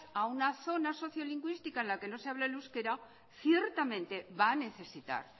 a una zona socio lingüística en la que no se hable el euskera ciertamente va a necesitar